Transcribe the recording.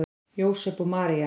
Jósep og María